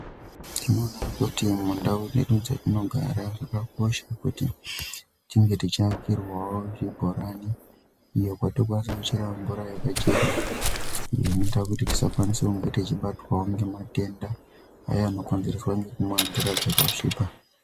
Tinoona kuti mundau dzedu dzatinogara zvakakosha kuti tinge tichiakirwawo zvibhorani iyo kwatinokwanisa kuchera mvura yakachena iyo inoita kuti tisakwanisa kunga teizobatwawo ngematenda Aya nokonzereswa ngekumwa mvura dzakasvipa.